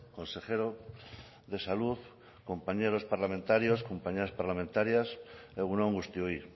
consejero de salud compañeros parlamentarios compañeras parlamentarias egun on guztioi